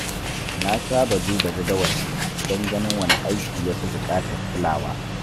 Na saba duba jadawalina don ganin wane aiki ya fi buƙatar kulawa.